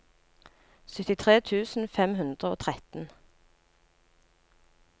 syttitre tusen fem hundre og tretten